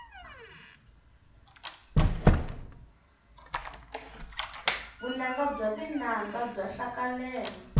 vunanga bya tinanga bya hlaleleka